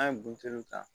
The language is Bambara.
An ye buteliw ta